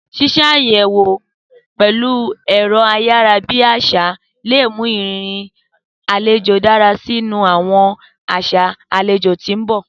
Sísàyẹwo pẹ̀lu ẹ̀ro ayara bi àsá le mu ìrírí alejo dára si ni àwọn aṣa alejò ti n bọ.